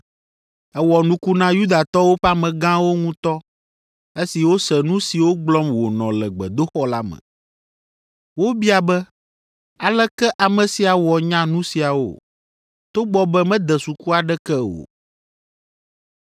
Ewɔ nuku na Yudatɔwo ƒe amegãwo ŋutɔ esi wose nu siwo gblɔm wònɔ le gbedoxɔ la me. Wobia be, “Aleke ame sia wɔ nya nu siawo, togbɔ be mede suku aɖeke o?”